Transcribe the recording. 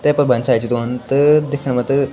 तेफर भोत सारी चीज औंद त दिखेना म त ।